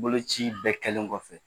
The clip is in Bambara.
Boloci bɛɛ kɛlen kɔfɛ,